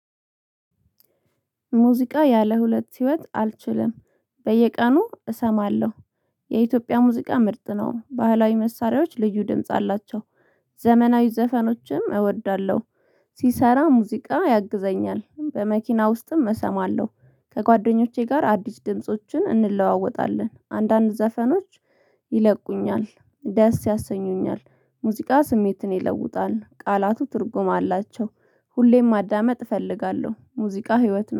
ሙዚቃ ያለ ሁለት ህይወት አልችልም በየቀኑ እሰማለሁ። የኢትዮጵያ ሙዚቃ ምርጥ ነው። ባህላዊ መሳሪያዎች ልዩ ድምጽ አላቸው። ዘመናዊ ዘፈኖችም እወዳለሁ። ሲሰራ ሙዚቃ ያግዘኛል በመኪና ውስጥም እሰማለሁ። ከጓደኞቼ ጋር አዲስ ድምፆችን እንለዋወጣለን አንዳንድ ዘፈኖች። ይለቁኛል ደስ ያሰኙኛል። ሙዚቃ ስሜትን ይለውጣል ቃላቱ ትርጉም አላቸው። ሁሌም ማዳመጥ እፈልጋለሁ ሙዚቃ ህይወት